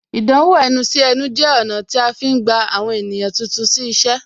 Ìdánwò ẹnu sí ẹnu jẹ ọ̀nà tí a fi ń gba àwọn ènìyàn tuntun sí iṣẹ́